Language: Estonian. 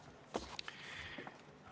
Lisaaega saab: viis pluss kolm minutit.